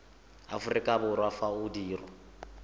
aforika borwa fa o dirwa